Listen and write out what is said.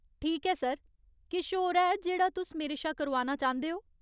ठीक ऐ सर, किश होर ऐ जेह्ड़ा तुस मेरे शा करोआना चांह्दे ओ ?